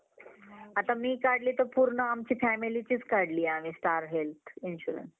आता मी काढले तर आमच्या पूर्ण family चीच काढली आम्ही star health insurance